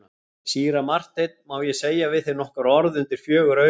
Síra Marteinn, má ég segja við þig nokkur orð undir fjögur augu?